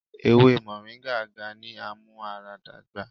Ewe Moringa ga ni amuaradagba